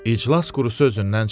İclas qurusu özündən çıxdı.